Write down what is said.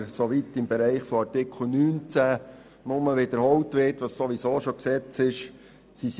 Aber Artikel 19 ist wirklich nicht nötig, da er das wiederholt, was sowieso Gesetz ist.